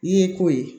N'i ye ko ye